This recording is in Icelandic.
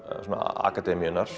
akademíunnar